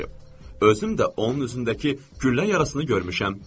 Özüm də onun üzündəki güllə yarasını görmüşəm.